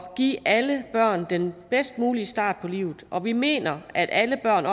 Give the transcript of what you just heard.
give alle børn den bedst mulige start på livet og vi mener at alle børn